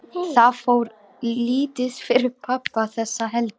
Það fór lítið fyrir pabba þessa helgi.